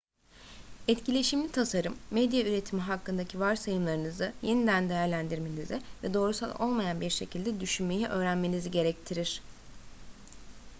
etkileşimli tasarım medya üretimi hakkındaki varsayımlarınızı yeniden değerlendirmenizi ve doğrusal olmayan bir şekilde düşünmeyi öğrenmenizi gerektirir